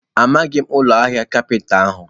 Amaghị m ụlọ ahịa kapinta ahụ.